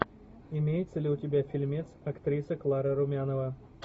имеется ли у тебя фильмец актриса клара румянова